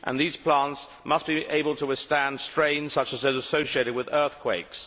These plants must be able to withstand strain such as that associated with earthquakes.